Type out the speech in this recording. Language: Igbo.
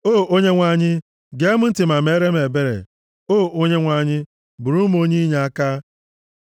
O Onyenwe anyị, gee m ntị ma meere m ebere; O Onyenwe anyị, bụụrụ m onye inyeaka.